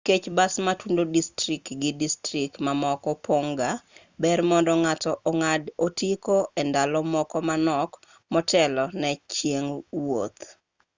nikech bas matudo distrikt gi distrikt mamoko pon'g ga ber mondo ng'ato ong'ad otiko e ndalo moko manok motelo ne chieng' wuoth